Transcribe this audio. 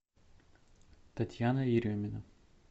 татьяна еремина